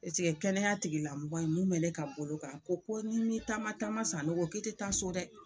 Paseke kɛnɛya tigilamɔgɔ in mun bɛ ne ka bolo kan ko ko ni ma taama taama sanogo ko i te taa so dɛ.